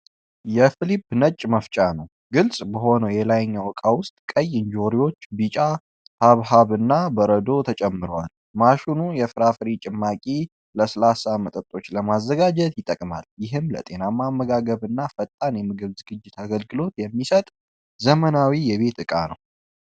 የፊሊፕስ ነጭ መፍጫ ነው ። ግልጽ በሆነው የላይኛው ዕቃ ውስጥ ቀይ እንጆሪዎች፣ ቢጫ ሐብሐብና በረዶ ተጨምረዋል። ማሽኑ የፍራፍሬ ጭማቂና ለስላሳ መጠጦች ለማዘጋጀት ይጠቅማል። ይህም ለጤናማ አመጋገብና ፈጣን የምግብ ዝግጅት አገልግሎት የሚሰጥ ዘመናዊ የቤት ዕቃ ነው።